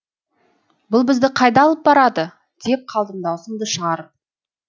бұл бізді қайда алып барады деп қалдым дауысымды шығарып